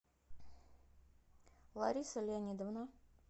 лариса леонидовна